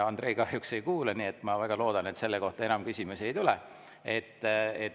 Andrei kahjuks ei kuule, ma väga loodan, et selle kohta enam küsimusi ei tule.